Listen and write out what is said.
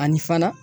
Ani fana